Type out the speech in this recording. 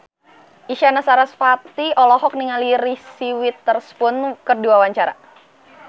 Isyana Sarasvati olohok ningali Reese Witherspoon keur diwawancara